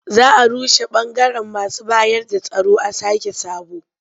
Za a rushe ɓangaren masu bayarda tsaro a sake sabo.